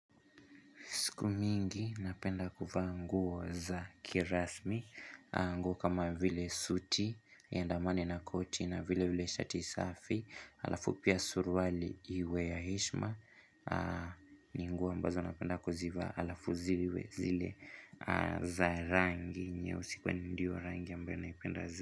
Siku mingi napenda kuvaa nguo za kirasmi, nguo kama vile suti, iandamane na koti na vile vile shati safi, alafu pia surwali iwe ya heshima, ni nguo ambazo napenda kuzivaa alafu ziwe zile za rangi, nyeusi kwani ndiyo rangi ambyo naipenda zaidi.